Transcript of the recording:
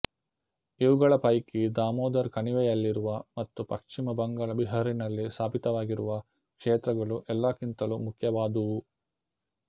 ಇವುಗಳ ಪೈಕಿ ದಾಮೋದರ್ ಕಣಿವೆಯಲ್ಲಿರುವ ಮತ್ತು ಪಶ್ಚಿಮ ಬಂಗಾಳ ಬಿಹಾರಿನಲ್ಲಿ ಸ್ಥಾಪಿತವಾಗಿರುವ ಕ್ಷೇತ್ರಗಳು ಎಲ್ಲಕ್ಕಿಂತಲೂ ಮುಖ್ಯವಾದುವು